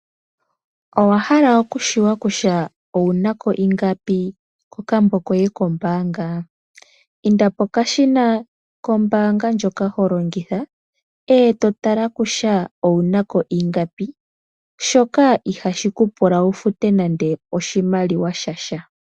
Owahala okutseya kutya owuna ko ingapi kokambo koye kombaanga? Inda pokashina kombaanga ndjoka holongitha e to tala kutya owuna ko ingapi shoka ihashi ku pula wu fute nande oshimaliwa sha sha.